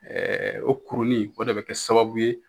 Ɛɛ o kurunin, o de be kɛ sababu ye